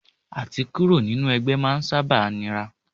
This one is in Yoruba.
À ti kúrò nínú ẹgbẹ́ máa ń sábà nira.